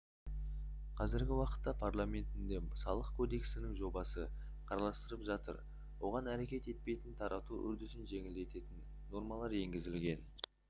қазіргі уақытта парламентінде салық кодексінің жобасы қарастырылып жатыр оған әрекет етпейтін тарату үрдісін жеңілдететін нормалар енгізілген